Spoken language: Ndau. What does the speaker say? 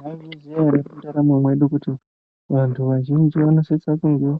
Mwaizviziya ere mundaramo mwedu, kuti vantu vazhinji vanosisa kunge